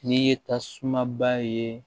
N'i ye tasuma ba ye